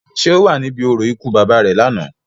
Ṣé o wa níbì orȯ ikú baba re làná?